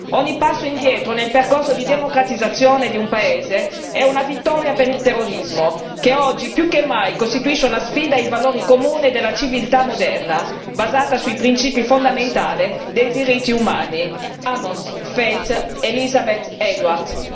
Ogni passo indietro nel percorso di democratizzazione di un paese è una vittoria per il terrorismo che oggi più che mai costituisce una sfida ai valori comuni della civiltà moderna basata sui principi fondamentali dei diritti umani. Amos, Feith, Elizabeth, Edward.